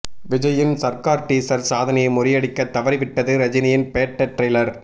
விஜய்யின் சர்கார் டீசர் சாதனையை முறியடிக்க தவறிவிட்டது ரஜினியின் பேட்ட ட்ரெய்லர்